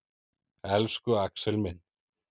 Elsku Axel minn.